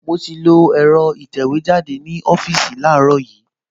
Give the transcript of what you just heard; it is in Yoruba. Mo ti lo ẹ̀rọ ìtẹ̀wẹ́jáde ní ọ́fíìsì láàárọ̀ yìí